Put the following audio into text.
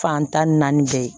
Fan tan ni naani bɛɛ ye